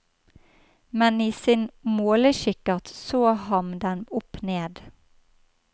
Men i sin målekikkert så han dem opp ned.